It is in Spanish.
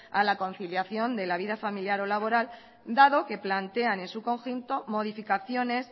a la conciliación de la vida familiar o laboral dado que plantean en su conjunto modificaciones